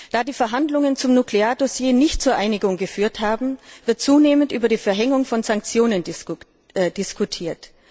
Da die Verhandlungen zum Nukleardossier nicht zur Einigung geführt haben, wird zunehmend über die Verhängung von Sanktionen diskutiert.